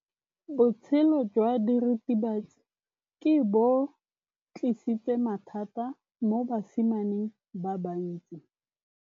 Botshelo jwa diritibatsi ke bo tlisitse mathata mo basimaneng ba bantsi.